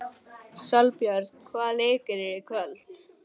Sólbjörn, hvaða leikir eru í kvöld?